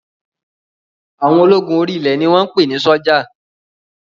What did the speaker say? Àwọn ológun orí ilẹ̀ ni wọ́n ń pè ní sọ́jà